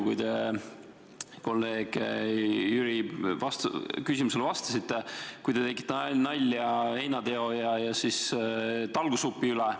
Kui te kolleeg Jüri küsimusele vastasite, siis te viskasite nalja heinateo ja talgusupi üle.